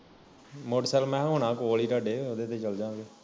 motorcycle ਮੈਂ ਹਾ ਹੋਣਾ ਕੋਲ ਹੀ ਤੁਹਾਡੇ ਉਹਦੇ ਤੇ ਚਲ ਜਾ ਗੇ